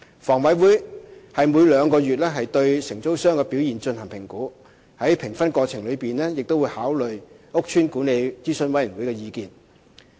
房委會每兩個月對承租商的表現進行評估，在評分過程當中會考慮屋邨管理諮詢委員會的意見。